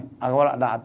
Agora dá